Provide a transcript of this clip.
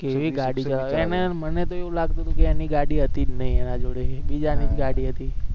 કેવી ગાડી ચલાવે એને મને તો એવુ લાગતો હતો કે એની ગાડી હતી જ નહી એના જોડે બીજા ની જ ગાડી હતી